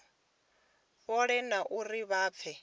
fhole na uri vha pfe